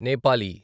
Nepali